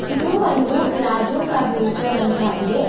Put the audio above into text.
ಇದು ಒಂದು ರಾಜು ಫರ್ನಿಚರ್ ಅಂತ ಇದೆ.